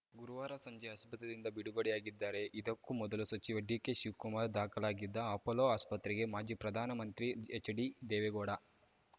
ಗುರುವಾರ ಸಂಜೆ ಆಸ್ಪತ್ರೆಯಿಂದ ಬಿಡುಗಡೆಯಾಗಿದ್ದಾರೆ ಇದಕ್ಕೂ ಮೊದಲು ಸಚಿವ ಡಿಕೆ ಶಿವಕುಮಾರ್‌ ದಾಖಲಾಗಿದ್ದ ಅಪೊಲೊ ಆಸ್ಪತ್ರೆಗೆ ಮಾಜಿ ಪ್ರಧಾನಮಂತ್ರಿ ಎಚ್‌ಡಿ ದೇವೇಗೌಡ